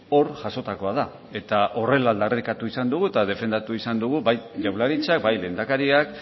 hor jasotakoa da eta horrela aldarrikatu izan dugu eta defendatu izan dugu bai jaurlaritzak bai lehendakariak